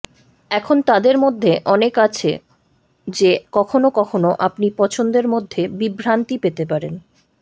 এখন তাদের মধ্যে অনেক আছে যে কখনও কখনও আপনি পছন্দের মধ্যে বিভ্রান্তি পেতে পারেন